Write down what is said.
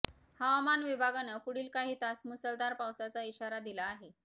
हवामान विभागानं पुढील काही तास मुसळधार पावसाचा इशारा दिला आहे